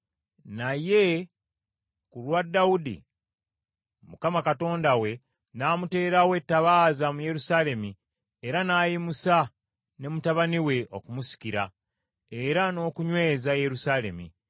Naye ku lwa Dawudi, Mukama Katonda we n’amuteerawo ettabaaza mu Yerusaalemi era n’ayimusa ne mutabani we okumusikira, era n’okunyweza Yerusaalemi.